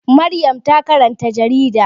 Maryam ta karanta jarida.